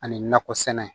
Ani nakɔ sɛnɛ